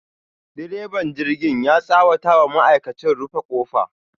direban jirgin ya tsawata wa ma'aikachi, rufe kofa.